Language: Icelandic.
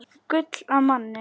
Gull af manni.